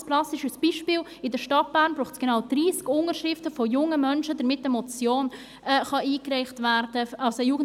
Ein ganz plastisches Beispiel: In der Stadt Bern braucht es genau 30 Unterschriften von jungen Menschen, damit eine Jugendmotion eingereicht werden kann.